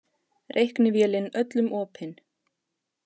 Reiknivélin öllum opin